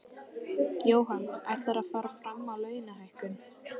Jóhann: Ætlarðu að fara fram á launalækkun?